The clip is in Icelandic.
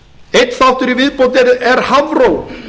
einn þáttur í viðbót er hafró